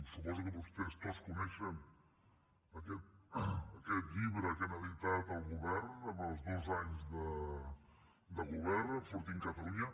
suposo que vostès tots coneixen aquest llibre que ha editat el govern amb els dos anys de govern enfortim catalunya